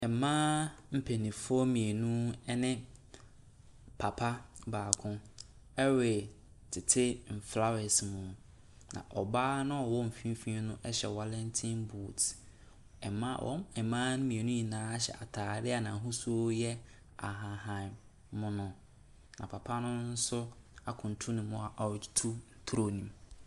Mmaa mpanyinfoɔ mmienu ɛne papa baako ɛretete nflawɛs mu na ɔbaa noa ɔwɔ mfimfinn no hyɛ wallington boots. Mmaa mmienu no nyinaa hyɛ ataade a n'ahosuo no yɛ ahahan mono na papa no nso ɛkunturu ne mu a ɔretutu toro no mu.